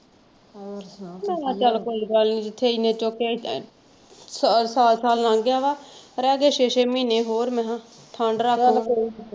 ਮੈਂ ਕਿਹਾ ਚੱਲ ਕੋਈ ਗੱਲ ਨੀ ਜਿਥੇ ਏਨੇ ਚੁੱਕ ਕ ਸਾਲ ਸਾਲ ਲੰਘ ਗਿਆ ਵਾ ਰਹਿ ਗਏ ਛੇ ਛੇ ਮਹੀਨੇ ਹੋਰ ਮੈਂ ਕਿਹਾ .